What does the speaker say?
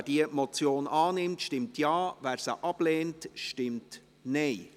Wer diese Motion annimmt, stimmt Ja, wer diese ablehnt, stimmt Nein.